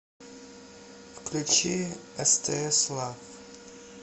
включи стс лав